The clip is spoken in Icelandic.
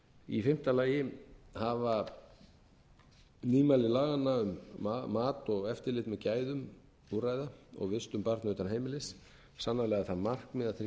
í fimmta lagi hafa nýmæli laganna um mat og eftirlit með gæðum úrræða og vistun barna utan heimilis sannarlega það markmið að tryggja betur